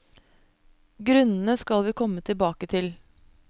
Grunnene skal vi komme tilbake til.